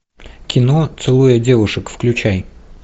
кино целуя девушек включай